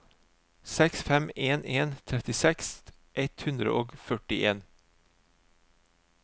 seks fem en en trettiseks ett hundre og førtien